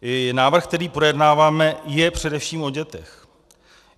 Návrh, který projednáváme, je především o dětech.